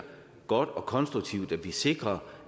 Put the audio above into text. godt og konstruktivt at vi sikrer